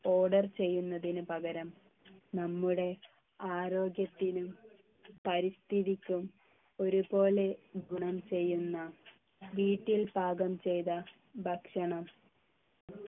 order ചെയ്യുന്നതിന് പകരം നമ്മുടെ ആരോഗ്യത്തിനും പരിസ്ഥിതിക്കും ഒരുപോലെ ഗുണം ചെയ്യുന്ന വീട്ടിൽ പാകം ചെയ്ത ഭക്ഷണം